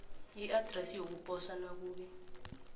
iadresi yokuposa nakube